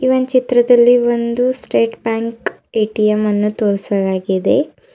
ಈ ಒಂದ್ ಚಿತ್ರದಲ್ಲಿ ಒಂದು ಸ್ಟೇಟ್ ಬ್ಯಾಂಕ್ ಏ_ಟಿ_ಎಂ ಅನ್ನು ತೋರಿಸಲಾಗಿದೆ.